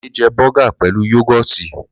Lolade jẹ bọ́gà pẹ̀lu yógótì.